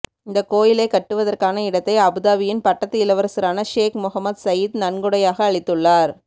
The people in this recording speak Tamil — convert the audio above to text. இந்த கோயிலை கட்டுவதற்கான இடத்தை அபுதாபியின் பட்டத்து இளவரசரான ஷேக் மொஹம்மத் சயீத் நன்கொடையாக அளித்துள்ளார்